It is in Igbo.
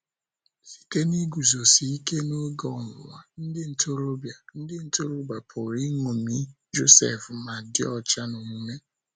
Site n’iguzosike n'oge ọnwụnwa, ndị ntorobịa, ndị ntorobịa pụrụ iṅomi Josef ma dị ọcha n’omume